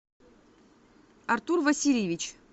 артур васильевич